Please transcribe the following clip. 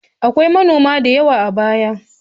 Akwai manoma da yawa a baya.